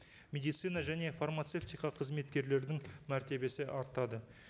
медицина және фармацевтика қызметкерлердің мәртебесі артады